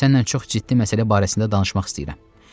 Səninlə çox ciddi məsələ barəsində danışmaq istəyirəm.